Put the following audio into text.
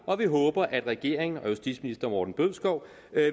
og vi håber at regeringen og justitsministeren